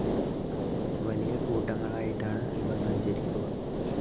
വലിയ കൂട്ടങ്ങളായിട്ടാണ് ഇവ സഞ്ചരിക്കുക.